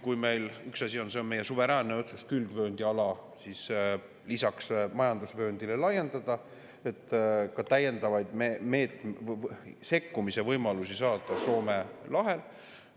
See on meie suveräänne otsus, et külgvööndiala lisaks majandusvööndile laiendada, selleks et saada täiendavaid sekkumisvõimalusi Soome lahel.